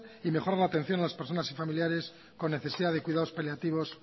y mejorar la atención a las personas y familiares con necesidad de cuidados paliativos